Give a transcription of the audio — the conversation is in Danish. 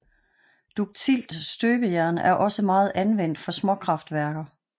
Duktilt støbejern er også meget anvendt for småkraftværker